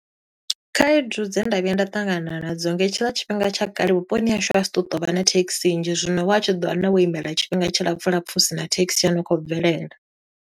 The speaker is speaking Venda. Khaedu dze nda vhuya nda ṱangana nadzo, nga hetshiḽa tshifhinga tsha kale vhuponi hashu ha si tu to vha na thekhisi nnzhi, zwino wa tshi ḓo wana wo imela tshifhinga tshi lapfu lapfu, husina thekhisi ya no khou bvelela.